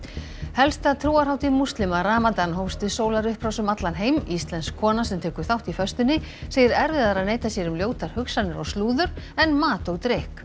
helsta trúarhátíð múslima ramadan hófst við sólarupprás um allan heim íslensk kona sem tekur þátt í föstunni segir erfiðara að neita sér um ljótar hugsanir og slúður en mat og drykk